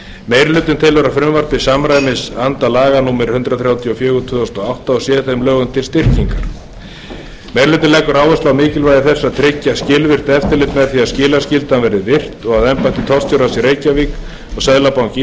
meiri hlutinn telur að frumvarpið samræmist anda laga númer hundrað þrjátíu og fjögur tvö þúsund og átta og sé þeim lögum til styrkingar meiri hlutinn leggur áherslu á mikilvægi þess að tryggja skilvirkt eftirlit með því að skilaskyldan verði virt og að embætti tollstjórans í reykjavík og seðlabanki